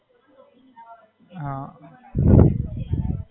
હાં.